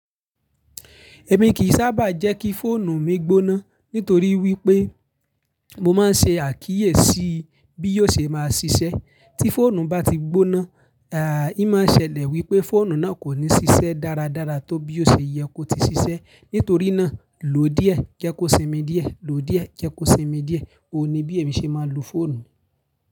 Èmi kìí sábà jẹ́ kí fóònù mi gbóná nítorí wípé mo máa ń ṣe àkíyèsí bí yóò ṣe máa ṣiṣẹ́. Tí fóònù bá ti gbóná, í máa ṣẹlẹ̀ wípé fóònù náà kò ní ṣiṣẹ́ dáradára tó bí ó ṣe yẹ kó ti ṣiṣẹ́. Nítorí náà, lò díẹ̀, jẹ́ kó sinmi díẹ̀, lò díẹ̀, jẹ́ kó sinmi díẹ̀. Ó ni bí èmi ṣe máa ń lo fóònù.